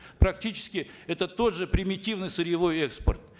практически это тот же примитивный сырьевой экспорт